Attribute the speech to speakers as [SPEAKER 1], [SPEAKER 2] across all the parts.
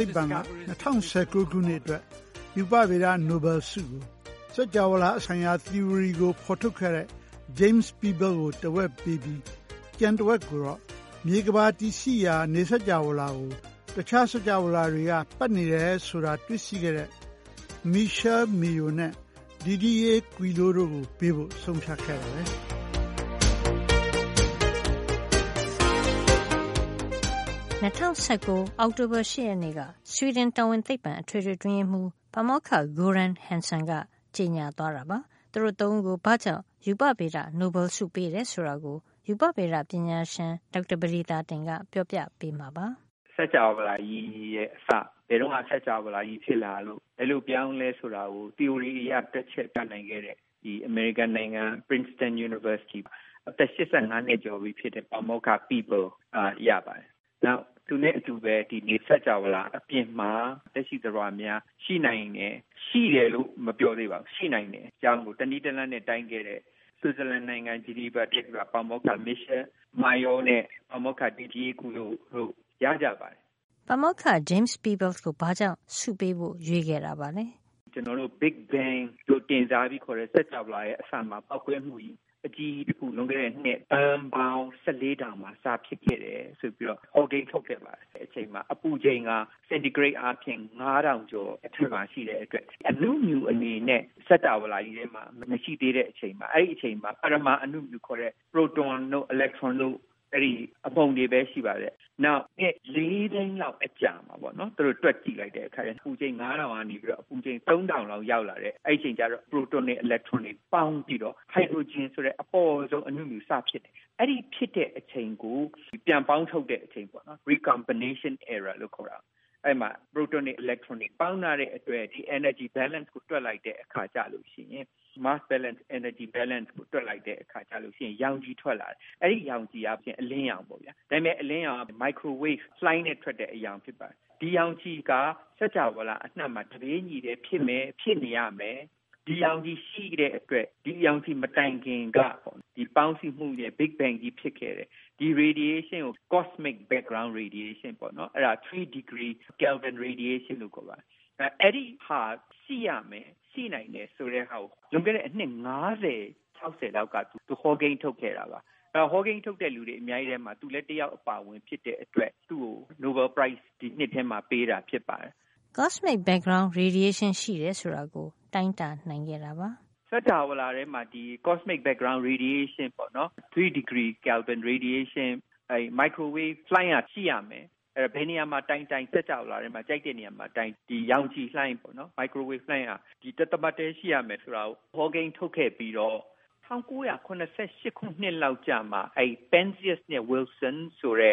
[SPEAKER 1] သိပ္ပံက ၂၀၁၉ ခုနှစ်အတွက် ရူပဗေဒ နိုဘယ်ဆုကို စကြဝဠာ ဖြစ်တည်မှု ဆိုင်ရာ သီအိုရီကို ဖေါ်ထုတ်ခဲ့တဲ့ James Peebles ကို တဝက်ပေးပြီး ကျန်တဝက်ကိုတော့ မြေကမ္ဘာကြီးရှိနေတဲ့ နေစကြာဝဠာကို တခြားစကြာဝဠာတွေက ပတ်နေတယ်ဆိုတာကို တွေ့ရှိခဲ့တဲ့ Michel Mayor နဲ့ Didier Queloz တို့ကို ပေးအပ်ဖို့ ဆုံးဖြတ်ပါတယ်။”
[SPEAKER 2] ၂၀၁၉ အောက်တိုဘာ ၈ ရက်နေ့က ဆွီဒင်တော်ဝင်သိပ္ပံ အထွေထွေအတွင်းရေးမှုး ပါမောက္ခ Göran K. Hansson က ကြေညာသွားတာပါ။ သူတို့ ၃ ဦးကို ဘာကြောင့် ရူပဗေဒ နိုဘယ်ဆုပေးတယ် ဆိုတာကို ရူပဗေဒပညာရှင် ဒေါက်တာ ပဒေသာတင်က ပြောပြပေးမှာပါ
[SPEAKER 1] ။ ဒေါက်တာ ပဒေသာတင်။ “စကြဝဠာကြီးရဲ့ အစ ဘယ်တုန်းက စကြဝဠာကြီး ဖြစ်လာလို့၊ ဘယ်လိုပြောင်းသလဲ ဆိုတာကို သီအိုရီ အရ တွက်ချက် ပြနိုင်ခဲ့တဲ့ အမေရိကန်နိုင်ငံ Princeton တက္ကသိုလ်က အသက် ၈၅ နှစ် ကျော်ပြီဖြစ်တဲ့ ပါမောက္ခ Peebles ကရပါတယ်။ နောက် သူနဲ့အတူပဲ ဒီနေစကြဝဠာ အပြင်မှာ သက်ရှိသတ္တဝါများ ရှိနိုင်သလား၊ ရှိတယ်လို့ မပြောသေးပါဘူး။ ဒါကို တနည်း တလမ်းနဲ့ တိုင်းခဲ့တဲ့ ဆွစ်ဇလန်နိုင်ငံ ဂျနီဗာ တက္ကသိုလ်က ပါမောက္ခ Michel Mayor နဲ့ Didier Queloz တို့ရကြပါတယ်”
[SPEAKER 2] ပါမောက္ခ James Peebles ကို ဘာကြောင့် ဆုပေးဖို့ရွေးခဲ့တာပါလဲ
[SPEAKER 1] ။ ဒေါက်တာ ပဒေသာတင်။ “ကျနော်တို့ Big Bang လို့ တင်စားခေါ်တဲ့ စကြဝဠာရဲ့အစ ပေါက်ကွဲမှု အကြီးကြီးတခု လွန်ခဲ့တဲ့နှစ် သန်းပေါင်း ၁၄ ထောင်မှာ စဖြစ်ခဲ့တယ် ဆိုပြီးတော့ သူက ဟောကိန်းထုတ်ခဲ့ပါတယ်။ အဲ့ဒီအချိန်က အပူချိန်က စင်တီဂရိတ်အားဖြင့် ၅၀၀၀ ကျော် အထက်မှာ ရှိတဲ့အတွက် အနုမြူအနေနဲ့ စကြဝဠာကြီးထဲမှာ မရှိသေးတဲ့အချိန်မှာ အဲဒီအချိန်မှာ ပရမာအနုမြူ လို့ခေါ်တဲ့ ပရိုတွန်တို့၊ အီလက်ထရွန်တို့ အဲဒီအမှုန်တွေပဲ ရှိပါတယ်။ နောက်နှစ် ၄ သိန်းလောက် ကြာမှာပေါ့နော်၊ သူတို့ တွက်ကြည့်လိုက်တဲ့အခါ အပူချိန်၅ ထောင်ကနေ ၃ ထောင်လောက်အထိ ရောက်လာတယ်။ အဲဒီလို အပူချိန် ၂ ထောင်လောက် လျော့သွားတဲ့ အချိန်ကျတော့ ပရိုတွန်တွေ၊ အီလက်ထရွန်တွေ ပေါင်းပြီးတော့ ဟိုက်ဒရိုဂျင် ဆိုတဲ့ အပေါ့ဆုံး အနုမြူစဖြစ်တယ်။ အဲဒီဖြစ်တဲ့ အချိန်ကို ပြန်ပေါင်းထုပ်တဲ့အချိန်၊ Recombination Era လို့ ခေါ်တာပေါ့။ အဲဒီမှာ ပရိုတွန်တွေ၊ အီလက်ထရွန်တွေ ပေါင်းထားတဲ့အတွက် mass balance - energy balance စွမ်းအင်မျှခြေကို တွက်လိုက်တဲ့ အခါကျတော့ ရောင်ခြည် ထွက်လာတယ်။ အဲဒီရောင်ခြည်က အလင်းရောင်ပေါ့။ ဒါပေမယ့် ဒီအလင်းရောင်က မိုက်ခရိုဝေ့ဖ် microwave လှိုင်းနဲ့ ထွက်တဲ့ ရောင်ခြည်ပါ။ ဒီရောင်ခြည်က စကြဝဠာ အနှံ့မှာ တပြေးညီပဲ ဖြစ်မယ်၊ ဖြစ်နေရမယ်၊ ဒီရောင်ခြည် ရှိတဲ့အတွက် ဒီရောင်ခြည် မတိုင်ခင်က ဒီပေါင်းစည်းမှုနဲ့ Big Bang ကြီးဖြစ်ခဲ့တယ်။ ဒီ radiation ကို Cosmic background radiation လို့ခေါ်တယ်။ အဲဒါ ၃ ဒီဂရီ ကယ်လ်ဗင် ရေဒီရေးရှင်းလို့ ခေါ်ပါတယ်။ အဲဒီဟာ ရှိရမယ်၊ ရှိနိုင်တယ် ဆိုတာကို လွန်ခဲ့တဲ့ အနှစ် ၅၀ - ၆၀ လောက်က သူဟောကိန်း ထုတ်ခဲ့တာပါ။ ဟောကိန်းထုတ်တဲ့ သူတွေ အများကြီးထဲမှာ သူလည်း တယောက် အပါအဝင် ဖြစ်တဲ့အတွက် သူ့ကို နိုဘယ်ဆု ဒီနှစ်ထဲမှာ ပေးတာဖြစ
[SPEAKER 2] ်ပါတယ်။ CMB -Cosmic microwave background radiation ရှိတယ်ဆိုတာကို တိုင်းတာနိုင်ခဲ့ပါ
[SPEAKER 1] တယ်။ ဒေါက်တာ ပဒေသာတင်။ “စကြဝဠာထဲမှာ ဒီ ကော့စမစ် ဘက်ဂရောင်း ရေဒီရေးရှင်း - ၃ ဒီဂရီ ကယ်လ်ဗင်ရေဒီရေးရှင်း ဆိုတဲ့ မိုက်ခရိုဝေ့ဖ် လှိုင်းက ရှိရမယ်။ အဲဒါကို ဘယ်နေရာမှာ တိုင်းတိုင်း စကြဝဠာထဲမှာ ကြိုက်တဲ့နေရာမှာတိုင်း ဒီရောင်ခြည်လှိုင်းက မိုက်ခရိုဝေ့ဖ် လှိုင်းက ဒီတသမတ်ထဲ ရှိရမယ်ဆိုတာကို ဟောကိန်းထုတ်ခဲ့ပြီးတော့ ၁၉၇၈ နှစ်လောက်ကျမှ Panzias နဲ့ Wilson တို့က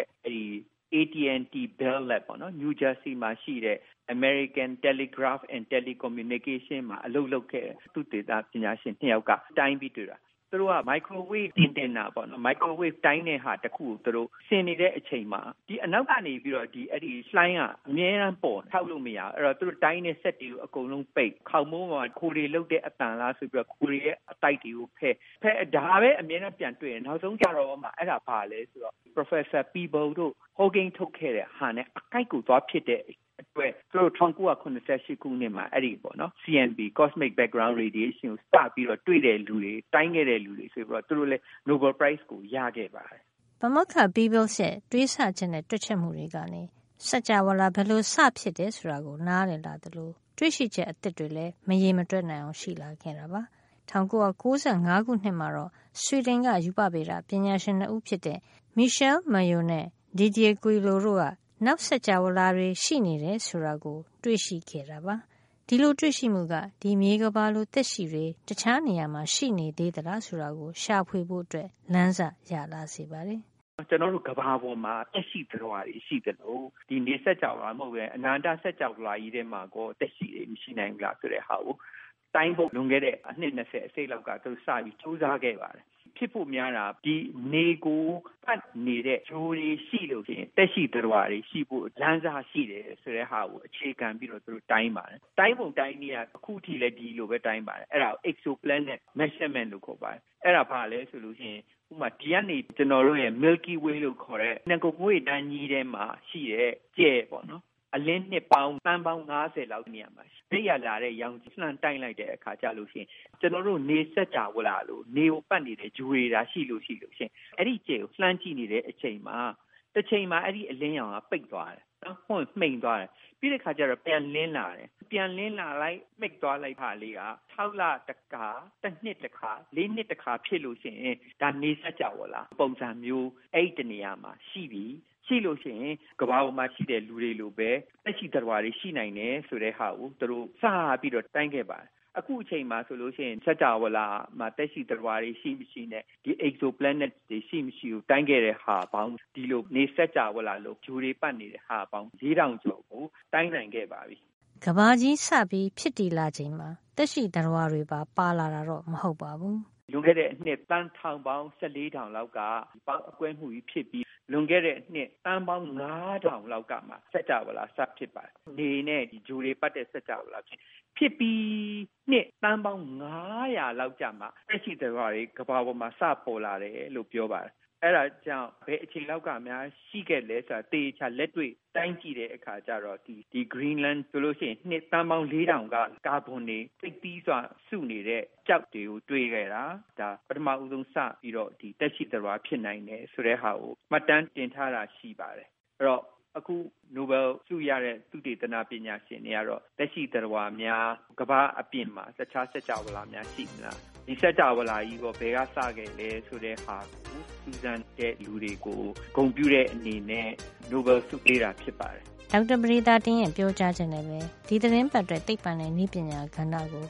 [SPEAKER 1] နယူးဂျာစီမှာ ရှိတဲ့ AT&T အမေရိကန် တယ်လီဂရပ်ဖ်နဲ့ တယ်လီကွန်မြူနီကေးရှင်း မှာ အလုပ်လုပ်ခဲ့တဲ့ သုတေသန ပညာရှင် ၂ ယောက်က တိုင်းပြီး တွေ့တာ။ သူတို့က မိုက်ခရိုဝေ့ဖ် အင်တင်နာပေါ့နော်။ မိုက်ခရိုဝေ့ဖ် တိုင်းတဲ့ဟာ တခုကို သူတို့ဆင်နေတဲ့ အချိန်မှာ အနောက်ကနေ လှိုင်းက အမြဲတမ်း ပေါ်နေတယ်။ ဖျောက်လို့ မရဘူး။ အဲဒီတော့ သူတို့ တိုင်းတဲ့ စက်တွေ အကုန်လုံးပိတ်၊ ခေါင်မိုးပေါ်က ခိုတွေလုပ်တဲ့အသံလား ဆိုပြီးတော့ ခိုတွေရဲ့ အသိုက်တွေကိုဖယ်၊ အဲဒီလို ဖယ်ပေမယ့်လည်း ဒါပဲ အမြဲတမ်း ပြန်တွေ့တယ်။ နောက်ဆုံး ကျတော့မှ အဲဒါဘာလဲ ဆိုတော့ ပါမောက္ခ Peebles တို့ ဟောကိန်း ထုတ်ခဲ့တဲ့ဟာနဲ့ အကိုက်ကို သွားဖြစ်နေတဲ့အတွက် သူတို့ ၁၉၇၈ ခုနှစ်မှာ အဲဒီ CMB - ကော့စမစ်ဘက်ဂရောင်း Cosmic Microwave background radiation ကို စပြီးတော့ တွေ့ခဲ့တိုင်းခဲ့တဲ့သူတွေ ဆိုပြီးသူတို့လည်း နိုဘယ်လ်ဆု ရခဲ့ပါတယ်
[SPEAKER 2] ။ ပါမောက္ခ Peebles ရဲ့ တွေးဆချက် နဲ့ တွက်ချက်မှုတွေရဲ့ အကျိုးကျေးဇူးက များလှပါတယ်။ စကြဝဠာ ဘယ်လိုစဖြစ်လာတယ် ဆိုတာကို နားလည်လာသလို တွေ့ရှိချက်အသစ်တွေလည်း မရေမတွက်နိုင်အောင် ရှိလာခဲ့တာပါ။ ဒါပေမယ့် စကြဝဠာကြီးရဲ့ ၅ % လောက်ကိုသာ သိသေးတာမို့ လေ့လာစရာတွေ အများကြီးကျန်နေပါသေးတယ်။ ၁၉၉၅ ခုနှစ်မှာတော့ ဆွီဒင်က ရူပဗေဒပညာရှင် ၂ ဦး ဖြစ်တဲ့ Michel Mayor နဲ့ Didier Queloz တို့က နောက်စကြဝဠာတွေ ရှိနေတယ် ဆိုတာကိုတွေ့ရှိခဲ့တာပါ။ ဒီလိုတွေ့ရှိမှုက ဒီမြေကမ္ဘာလို သက်ရှိတွေ တခြားနေရာမှာ ရှိနေသလားဆိုတာကို ရှာဖို့ လမ်းစရလာ စေပါတယ်
[SPEAKER 1] ။ ဒေါက်တာ ပဒေသာတင်။ “ကျနော်တို့ ကမ္ဘာပေါ်မှာ သက်ရှိသတ္တဝါတွေ ရှိနေသလို ဒီနေစကြဝဠာ မဟုတ်ပဲ တခြားအနန္တစကြဝဠာကြီး ထဲမှာရော သက်ရှိတွေ ရှိနိုင်သလား ဆိုတဲ့ဟာကို တိုင်းဖို့ လွန်ခဲ့တဲ့ အနှစ် ၂၀ အစိတ်လောက်က သူတို့စပြီး ကြိုးစားခဲ့ကြပါတယ်။ ဖြစ်ဖို့ များတာက ဒီ နေကို ပတ်နေတဲ့ ဂြိုဟ်တွေ ရှိလို့ရှိရင် သက်ရှိသတ္တဝါတွေ ရှိဖို့ လမ်းစရှိတယ် ဆိုတဲ့ဟာကို အခြေခံပြီးတော့ သူတို့ တိုင်းပါတယ်။ တိုင်းပုံတိုင်းနည်းကတော့ အခုလက်ရှိလည်း ဒီလိုပဲ တိုင်းပါတယ်။ အဲဒါကို exoplanet measurement လို့ခေါ်ပါတယ်။ အဲဒါက ဘာလဲဆိုတော့ ဥပမာ ဒီကနေ ကျနော်တို့ရဲ့ milky way လို့ခေါ်တဲ့ နဂါးငွေ့တန်းကြီးထဲမှာ ရှိတဲ့ ကြယ်ပေါ့နော်။ အလင်းနှစ်ပေါင်း သန်းပေါင်း ၅၀ လောက် နေရာမှာရှိတဲ့ အဲ့ဒီက လာတဲ့ ရောင်ခြည်ကို လှမ်း တိုင်းလိုက်တဲ့ အခါကျရင် ကျနော်တို့ နေစကြဝဠာလို နေကို ပတ်နေတဲ့ ဂြိုဟ်တွေသာ ရှိလို့ရှိရင် အဲဒီကြယ် ကို လှမ်းကြည့်နေတဲ့အချိန်မှာ တချိန်မှာ အဲဒီအလင်းရောင်က ပိတ်သွားတယ်၊ ဒါမှမဟုတ် မှိန်သွားတယ်၊ ပြီးတဲ့အခါ ပြန်လင်းလာတယ်။ ပြန်လင်းလာလိုက်- မှိတ်သွားလိုက် ဟာလေးက ၆ လတခါ၊ တနှစ်တခါ၊ ၄ နှစ်တခါ ဖြစ်လို့ရှိရင် ဒါ- နေစကြဝဠာ ပုံစံမျိုး အဲဒီတနေရာမှာ ရှိပြီ။ ရှိလို့ရှိရင် ကမ္ဘာပေါ်မှာ ရှိတဲ့ လူတွေလိုပဲ သက်ရှိသတ္တဝါတွေ ရှိမယ် ဆိုတာကို သူတို့ စပြီး တိုင်းခဲ့ပါတယ်။ အခုအချိန်မှာ ဆိုရင် စကြဝဠာမှာ သက်ရှိသတ္တဝါတွေ ရှိမရှိနဲ့ ဒီ exoplanet တွေ ရှိမရှိကို တိုင်းခဲ့တဲ့တာပေါင်း၊ ဒီလိုနေစကြဝဠာလို ဂြိုဟ်တွေ ပတ်နေတာပေါင်း ၄ ထောင်ကျော်ကို တိုင်းနိုင်ခဲ့ပါပြီ
[SPEAKER 2] ။” ကမ္ဘာစဖြစ်တည်လာချိန်မှာ သက်ရှိသတ္တဝါတွေပါ ပါလာတာတော့ မဟုတ်ပါဘူး။ ဒေါက်တာ ပဒေသ
[SPEAKER 1] ာတင်။ “လွန်ခဲ့တဲ့ အနှစ် သန်းထောင်ပေါင်း ၁၄ ထောင်တုန်းက ပေါက်ကွဲမှုကြီး ဖြစ်ပြီး၊ လွန်ခဲ့တဲ့ အနှစ် သန်းပေါင်း ၅ ထောင်လောက်ကမှ စကြဝဠာ စဖြစ်ပါတယ်။ နေနဲ့ ဂြိုဟ်တွေ ပတ်တဲ့ စကြဝဠာပါ။ ဖြစ်ပြီး နှစ် သန်းပေါင်း ၅၀၀ လောက်ကျမှ သက်ရှိသတ္တဝါတွေ ကမ္ဘာပေါ်မှာ စ ပေါ်လာတယ်လို့ ပြောပါတယ်။ အဲဒါကြောင့် ဘယ်အချိန်လောက်ကများ ရှိခဲ့လဲ ဆိုတာ သေချာ လက်တွေ့တိုင်းကြည့်တဲ့အခါ ကျတော့ ဒီ Greenland ဆိုလို့ရှိရင် နှစ် သန်းပေါင်း ၄ ထောင်က ကာဗွန်တွေ အဓိက စုနေတဲ့ ကျောက်တွေကို တွေ့ခဲ့တာပါ။ ဒါဟာ ပထမဆုံး စပြီးတော့ သက်ရှိသတ္တဝါ ဖြစ်နိုင်တယ် ဆိုတဲ့ဟာကို မှတ်တမ်း တင်ထားတာ ရှိပါတယ်။ အဲဒီတော့ အခု နိုဘယ်လ်ဆု ရတဲ့ သုတေသန ပညာရှင်တွေကတော့ သက်ရှိသတ္တဝါများ ကမ္ဘာ့အပြင်မှာ တခြားစကြဝဠာမှာများ ရှိမလား၊ ဒီစကြဝဠာကြီးရော ဘယ်ကစသလဲ ဆိုတာကို စူးစမ်းခဲ့သူတွေကို ဂုဏ်ပြုတဲ့ အနေနဲ့ နိုဘယ်လ်ဆု ပေးတာ ဖြစ်ပါတယ်။
[SPEAKER 2] ” ဒေါက်တာပဒေသာတင်ရဲ့ ပြောကြားချက်နဲ့ပဲ ဒီသီတင်းပတ်အတွက် သိပ္ပံနဲ့နည်းပညာကဏ္ဍကိ